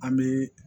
An bɛ